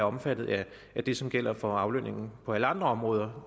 omfattet af det som gælder for aflønningen på alle andre områder